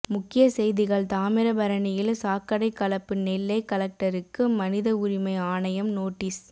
முக்கிய செய்திகள் தாமிரபரணியில் சாக்கடை கலப்பு நெல்லை கலெக்டருக்கு மனித உரிமை ஆணையம் நோட்டீஸ்